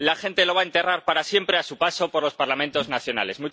La gente lo va a enterrar para siempre a su paso por los Parlamentos nacionales.